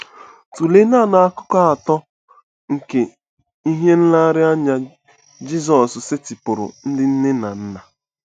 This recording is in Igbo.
Tụlee nanị akụkụ atọ nke ihe nlereanya Jizọs setịpụụrụ ndị nne na nna.